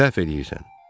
Səhv eləyirsən.